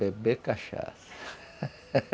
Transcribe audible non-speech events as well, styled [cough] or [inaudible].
Beber cachaça [laughs]